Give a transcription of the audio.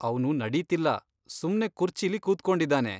ಅವ್ನು ನಡೀತಿಲ್ಲ, ಸುಮ್ನೆ ಕುರ್ಚಿಲಿ ಕೂತ್ಕೊಂಡಿದಾನೆ.